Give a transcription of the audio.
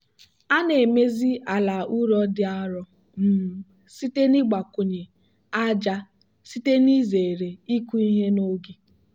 a na-emezi ala ụrọ dị arọ um site n'ịgbakwụnye ájá site n'izere ịkụ ihe n'oge.